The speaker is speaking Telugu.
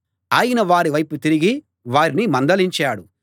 ఆయన వారి వైపు తిరిగి వారిని మందలించాడు